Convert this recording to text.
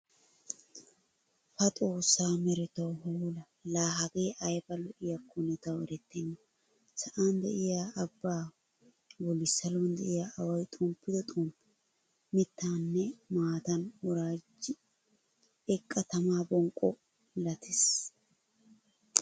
Pa xossaa meretawu hoola! Laa hagee ayba lo'iyaakonne tawu eretenna. Sa'an de'iya abbaa bolli saluwan de'iya away xomppido xomppee mittaaninne maatan woraajid eqqa tama bonqqo milatees.